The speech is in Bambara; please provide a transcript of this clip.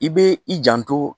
I bɛ i janto